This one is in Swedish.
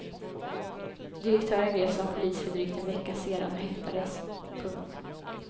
Direktören greps av polis för drygt en vecka sedan och häktades. punkt